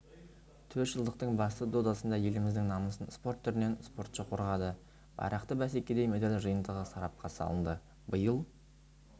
төртжылдықтың басты додасында еліміздің намысын спорт түрінен спортшы қорғады байрақты бәсекеде медаль жиынтығы сарапқа салынды биыл